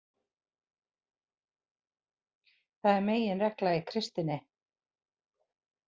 Það er meginregla í kristninni.